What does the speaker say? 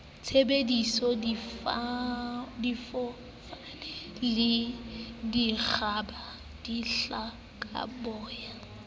thabisa difofane le dikgoba dihlokaboya